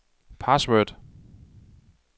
password